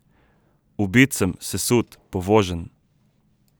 Ubit sem, sesut, povožen.